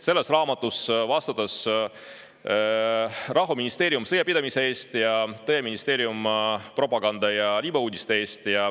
Selles raamatus vastutas rahuministeerium sõjapidamise eest ning tõeministeerium propaganda ja libauudiste eest.